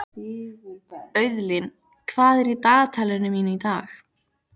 Auðlín, hvað er í dagatalinu mínu í dag?